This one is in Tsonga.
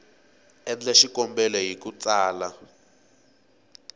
endla xikombelo hi ku tsala